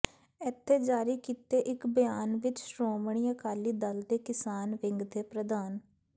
ਇਥੇ ਜਾਰੀ ਕੀਤੇ ਇਕ ਬਿਆਨ ਵਿਚ ਸ਼੍ਰੋਮਣੀ ਅਕਾਲੀ ਦਲ ਦੇ ਕਿਸਾਨ ਵਿੰਗ ਦੇ ਪ੍ਰਧਾਨ